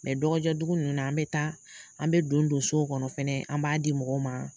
Mɛ dɔgɔjɔ dugu ninnu na, an bɛ taa, an bɛ don don so kɔnɔ fɛnɛ, an b'a di mɔgɔ ma,